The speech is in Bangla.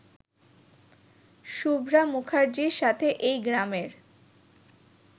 শুভ্রা মুখার্জির সাথে এই গ্রামের